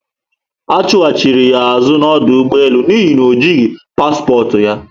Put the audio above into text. Achuhachiri ya azu na ọdụ ụgbọelu n'ihi na ojihi paspọtụ ya